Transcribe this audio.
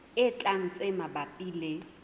e tlang tse mabapi le